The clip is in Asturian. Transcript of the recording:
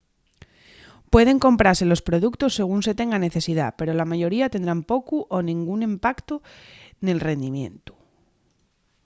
pueden comprase los productos según se tenga necesidá pero la mayoría tendrán pocu o nengún impactu nel rindimientu